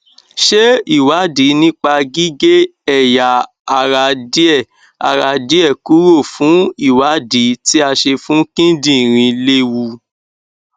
ṣé ìwádìí nípa gige eya ara die ara die kuro fun iwadi ti a se fun kindinrin lewù